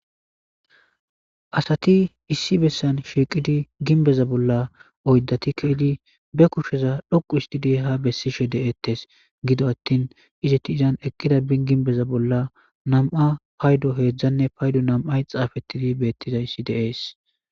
Asati issi bessan shiiqidi ginbeza bolla oyddati kaydi be kusheza dhoqu isti de ha bessishe de'eettes gido attin izeti izan eqqida binginbeza bolla nam'a paydo heedzdzanne paydo nam'ay xaafettidi beettizayssi deees.